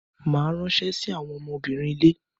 Màá ránṣẹ́ sí àwọn ọmọbìnrin ilé.